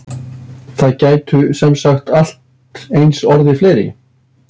Það gætu semsagt allt eins orðið fleiri?